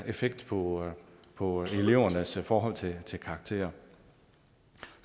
effekt på på elevernes forhold til til karakterer